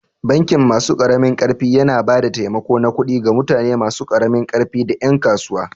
Bankin masu ƙaramin ƙarfi yana ba da taimako na kudi ga mutane masu karamin ƙarfi da ƴan kasuwa.